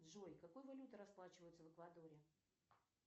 джой какой валютой расплачиваются в эквадоре